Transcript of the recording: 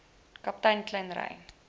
kaptein kleyn ry